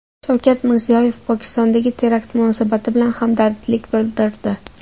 Shavkat Mirziyoyev Pokistondagi terakt munosabati bilan hamdardlik bildirdi.